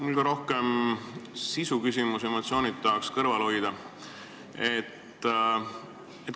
Mul on rohkem sisuküsimus, emotsioonid tahaks kõrvale jätta.